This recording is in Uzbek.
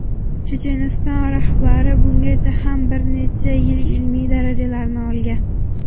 Checheniston rahbari bungacha ham bir necha ilmiy darajalarni olgan.